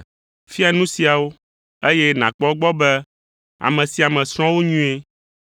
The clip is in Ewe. Fia nu siawo, eye nàkpɔ egbɔ be ame sia ame srɔ̃ wo nyuie.